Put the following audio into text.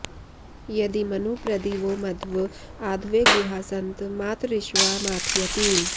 यदी॒मनु॑ प्र॒दिवो॒ मध्व॑ आध॒वे गुहा॒ सन्तं॑ मात॒रिश्वा॑ मथा॒यति॑